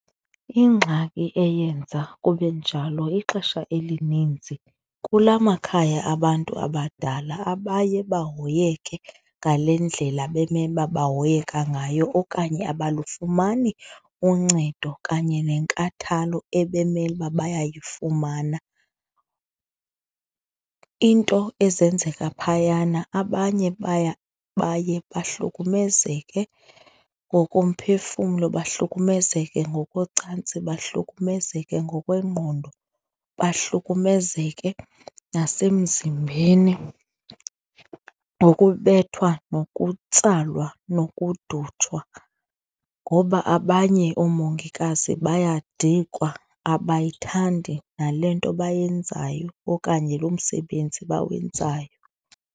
Ingxaki eyenza kube njalo ixesha elininzi kulaa makhaya abantu abadala, abaye bahoyeke ngale ndlela bemele uba bahoyeke ngayo okanye abalufumani uncedo kanye nenkathalo ebemele uba bayayifumana. Iinto ezenzeka phayana abanye baye bahlukumezeke ngokomphefumlo, bahlukumezeke ngokocantsi, bahlukumezeke ngokwengqondo, bahlukumezeke nasemzimbeni ngokubethwa nokutsalwa nokufudutshwa ngoba abanye oomongikazi bayadikwa, abayithandi nale nto bayenzayo okanye lo msebenzi bawenzayo.